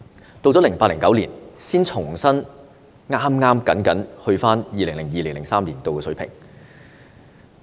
到了 2008-2009 年度，才重新僅僅返回 2002-2003 年度的水平。